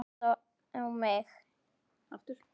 Hún trúði alltaf á mig.